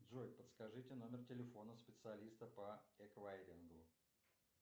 джой подскажите номер телефона специалиста по эквайрингу